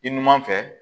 I numan fɛ